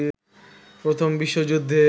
প্রথম বিশ্বযুদ্ধে